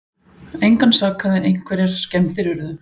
Engan sakaði en einhverjar skemmdir urðu